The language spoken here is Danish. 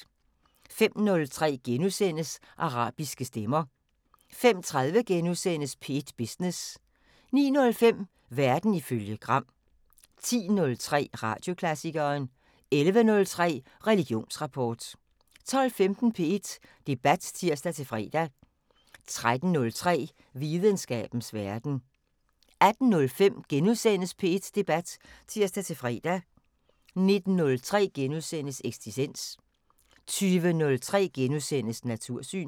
05:03: Arabiske stemmer * 05:30: P1 Business * 09:05: Verden ifølge Gram 10:03: Radioklassikeren 11:03: Religionsrapport 12:15: P1 Debat (tir-fre) 13:03: Videnskabens Verden 18:05: P1 Debat *(tir-fre) 19:03: Eksistens * 20:03: Natursyn *